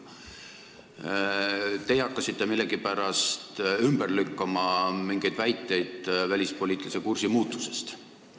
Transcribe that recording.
Teie hakkasite millegipärast ümber lükkama mingeid väiteid välispoliitilise kursi muutusest.